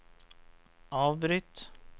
avbryt